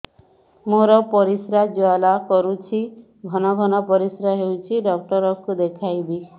ମୋର ପରିଶ୍ରା ଜ୍ୱାଳା କରୁଛି ଘନ ଘନ ପରିଶ୍ରା ହେଉଛି ଡକ୍ଟର କୁ ଦେଖାଇବି